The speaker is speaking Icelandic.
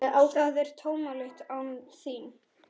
Það er tómlegt án þín.